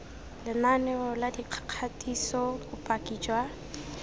lenaneo la dikgatiso bopaki jwa